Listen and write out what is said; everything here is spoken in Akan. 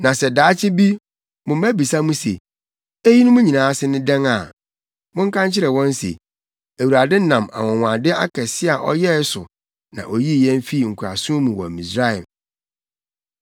“Na sɛ daakye bi mo mma bisa mo se, ‘Eyinom nyinaa ase ne dɛn a, monka nkyerɛ wɔn se, Awurade nam anwonwade akɛse a ɔyɛe so na oyii yɛn fii nkoasom mu wɔ Misraim.